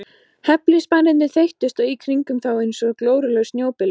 Hefilspænirnir þeyttust í kringum þá einsog glórulaus snjóbylur.